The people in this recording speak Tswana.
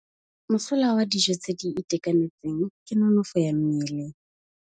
Mosola wa dijô tse di itekanetseng ke nonôfô ya mmele.